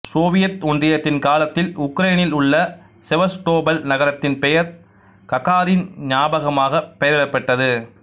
Soviet ஒன்றியத்தின் காலத்தில் உக்ரைன்னில் உள்ள செவஸ்டோபல் நகரத்தின் பெயர் ககாரின் ஞாபகமாக பெயரிடப்பட்டது